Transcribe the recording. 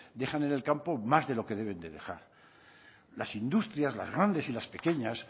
dejan en el campo más de lo que deben dejar las industrias las grandes y las pequeñas